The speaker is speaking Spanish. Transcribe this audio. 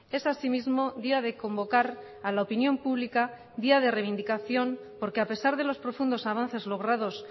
es asimismo día de convocar a la opinión pública día de reivindicación porque a pesar de los profundos avances logrados